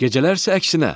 Gecələr isə əksinə.